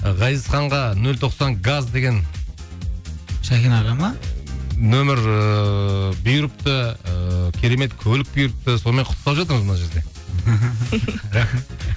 ғазизханға нөл тоқсан газ деген шәкен аға ма нөмір ыыы бұйырыпты ыыы керемет көлік бұйырыпты сонымен құттықтап жатырмыз мына жерде